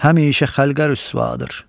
Həmişə xəlqə rüsvadır.